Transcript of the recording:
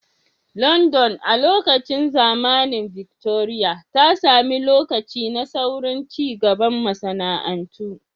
London, a lokacin zamanin Victoria, ta sami lokaci na saurin cigaban masana'antu.